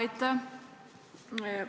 Aitäh!